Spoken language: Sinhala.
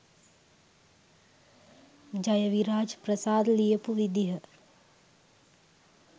ජයවිරාජ් ප්‍රසාද් ලියපු විදිහ